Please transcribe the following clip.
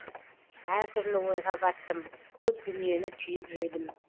әртүрлі ойға баттым көп дүниені түйіп жүрдім